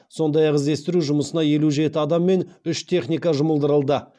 сондай ақ іздестіру жұмысына елу жеті адам мен үш техника жұмылдырылды